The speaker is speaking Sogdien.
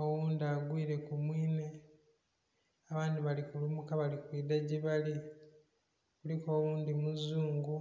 oghundhi agwire ku mwinhe abandhi bali kulumuka bali kwidha gyebali, kuliku oghundhi muzungu.